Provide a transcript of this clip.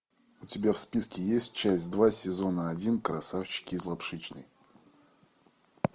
у тебя в списке есть часть два сезона один красавчики из лапшичной